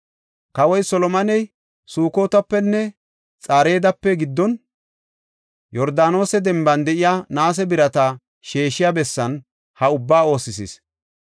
Kawoy Solomoney Sukotapenne Xareedape giddon, Yordaanose denban de7iya naase birata sheeshiya bessan ha ubbaa oosisis.